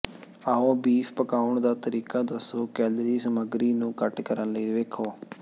ਆਓ ਬੀਫ ਪਕਾਉਣ ਦਾ ਤਰੀਕਾ ਦੱਸੋ ਕੈਲੋਰੀ ਸਮੱਗਰੀ ਨੂੰ ਘੱਟ ਕਰਨ ਲਈ ਵੇਖੋ